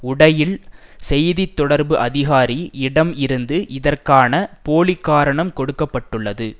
உடையில் செய்தி தொடர்பு அதிகாரி இடம் இருந்து இதற்கான போலிக்காரணம் கொடுக்க பட்டுள்ளது